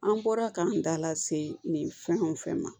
An bɔra k'an da lase nin fɛn o fɛn ma